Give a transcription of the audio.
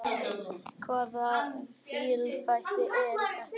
Hvaða fíflalæti eru þetta!